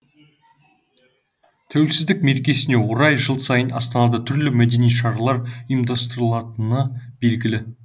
тәуелсіздік мерекесіне орай жыл сайын астанада түрлі мәдени шаралар ұйымдастырылатыны белгігі